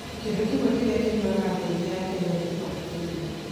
Kĩndũ kĩmwe kĩrĩa kĩnyuaga andũ aingĩ a Kenya nĩ gĩkombe kĩa iria.